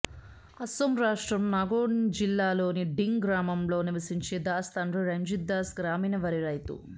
అస్సోం రాష్ట్రం నాగోన్జిల్లాలోని డింగ్ గ్రామంలో నివసించే దాస్ తండ్రి రంజిత్ దాస్ గ్రామీణ వరి రైతు